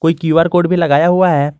ये Q R code भी लगाया हुआ है।